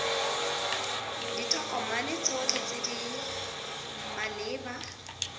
ditokomane tsotlhe tse di maleba